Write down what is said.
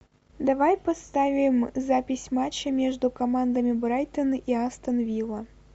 давай поставим запись матча между командами брайтон и астен вилла